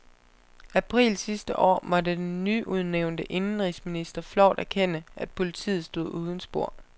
April sidste år måtte den nyudnævnte indenrigsminister flovt erkende, at politiet stod uden spor.